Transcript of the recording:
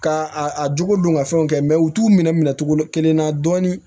Ka a a jogo don nka fɛnw kɛ mɛ u t'u minɛ minɛ cogo kelenna dɔɔni